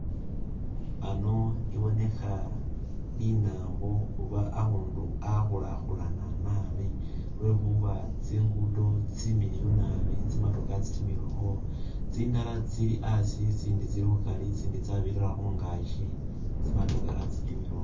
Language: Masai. Ano ibonekha linambo oba akhundu akhulakhulana naabi lwekhuba tsingudo tsimiliyu naabi tsi matokha kha tsimilakho , tsindala tsili asi, itsindi tsili khukari itsindi tsa birira khungaki, tsi motokha tsabirirakho